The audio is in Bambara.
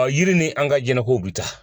yiri ni an ka jɛnɛkow bi taa.